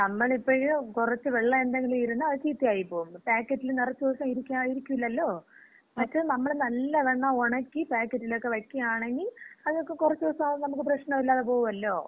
നമ്മളിപ്പഴ് കൊറച്ച് വെള്ളം എന്തെങ്കിലും ഇരുന്നാ അത് ചീത്തയായിപ്പോകും. പാക്കറ്റില് നെറച്ച് ദെവസം ഇരിക്കൂലല്ലോ? മറ്റത് നമ്മള് നല്ലവണ്ണം ഒണക്കി പാക്കറ്റിലക്ക വയ്ക്കാണങ്കി അതക്ക കൊറച്ച് ദെവസാവുമ്പ നമുക്ക് പ്രശ്നമില്ലാതെ പോവുവല്ലോ.